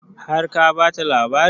Har ka bata labarin?